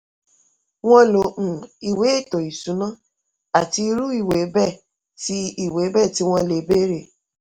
wọ́n lo um ìwé ètò ìṣúná àti irú ìwé bẹ́ẹ̀ tí ìwé bẹ́ẹ̀ tí wọ́n lè béèrè.